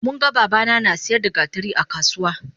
Munga babana nasiyar da gatari akasuwa